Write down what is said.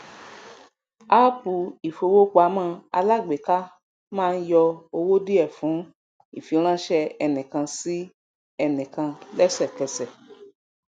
appu ifowopamọ alágbèéká máà n yọ owó diẹ fún ifiranṣẹ enikan sí ẹnikan lésèkẹsẹ